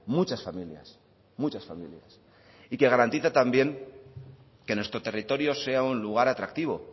muchas familias muchas familias y que garantiza también que nuestro territorio sea un lugar atractivo